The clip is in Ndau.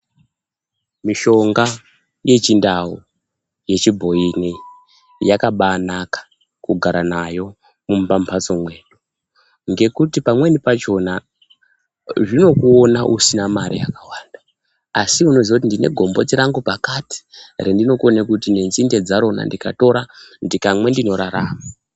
Mishonga yechiNdau, yechibhoyi ineyi yakabaanaka kugara nayo mumambatso mwenyu ngekuti pamweni pachona zvinokuona usina mare yakawanda asi unoziye kuti ndine gomboti rangu pakati rendikone kuti nenzinde dzarona ndikatora ndikamwa ndzinorarama.